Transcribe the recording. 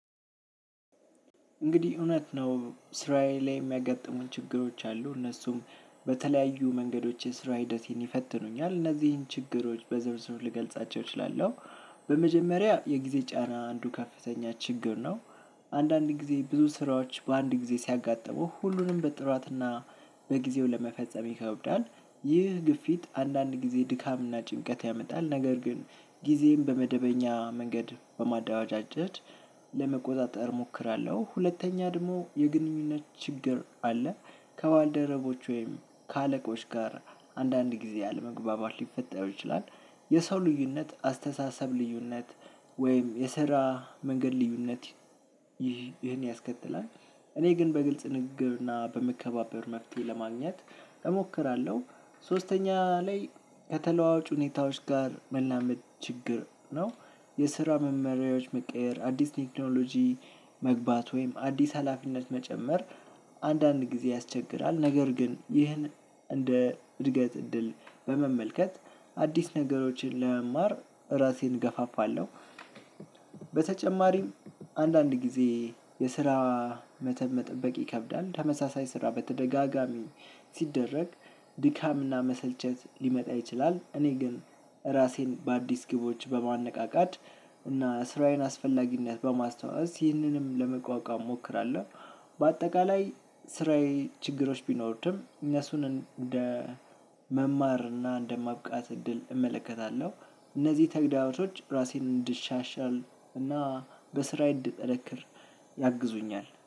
እንግዲህ እውነት ነው ስራዬ ላይ የሚያጋጥሙን ችግሮች አሉ እነሱም በተለያዩ መንገዶች የስራ ሂደቴን ይፈትኑኛል እነዚህን ችግሮች በዝርዝሩ ልገልጻቸው እችላለሁ። በመጀመሪያ የጊዜ ጫና አንዱ ከፍተኛ ችግር ነው። አንዳንድ ጊዜ ብዙ ስራዎች በአንድ ጊዜ ሲያጥሙህ ሁሉንም በጥራትና በጊዜው ለመፈጸም ይከብዳል። ይህ ግፊት አንዳንድ ጊዜ ድካምና ጭንቀት ያመጣል ነገር ግን ጊዜን በመደበኛ መንገድ በማዳራጃጀት ለመቆጣጠር እሞክራለሁ። ሁለተኛ ደግሞ የግንኙነት ችግር አለ። ከባልደረቦች ወይም ከአለቆች ጋር አንዳንድ ጊዜ ያለመግባባት ሊፈጠር ይችላል። የሰው ልዩነት አስተሳሰብ ልዩነት ወይም የስራ መንገድ ልዩነት። ይህን ያስከትላል እኔ ግን በግልጽ ንግግርና በመከባበር መፍትሄ ለማግኘት እሞክራለሁ። ሶስተኛ ላይ ከተለዋዋጭ ሁኔታዎች ጋር መላመድ ችግር ነው። የስራ መመሪያዎች መቀየር አዲስ ቴክኖሎጂ መግባት ወይም አዲስ ሀላፊነት መጨመር አንዳንድ ጊዜ ያስቸግራል። ነገር ግን ይህን እንደ እድገት እድል በመመልከት አዲስ ነገሮችን ለመማር ራሴን እገፋፋለሁ። በተጨማሪም አንዳንድ ጊዜ የስራ መተብ መጠበቅ ይከብዳል ተመሳሳይ ስራ በተደጋጋሚ ሲደረግ ድካምና መሰልቸት ሊመጣ ይችላል። እኔ ግን ራሴን በአዲስ ግቦች በማነቃቃት እና ስራዬን አስፈላጊነት በማስታወስ ይህንንም ለመቋቋም እሞክራለሁ። በአጠቃላይ ስራዬ ችግሮች ቢኖርድም እነሱን እንደ መማር እና እንደማብቃት እድል እመለከታለሁ። እነዚህ ተግዳሮች ራሴን እንድሻሻል እና በስራዬ እንድጠነክር ያግዙኛል